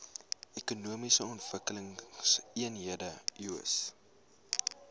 ekonomiese ontwikkelingseenhede eoes